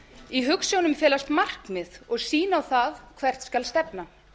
í hugsjónum felast markmið og sýna það hvert skal stefna